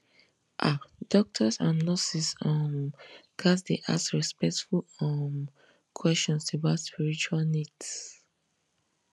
ah doctors and nurses um ghats dey ask respectful um questions about spiritual needs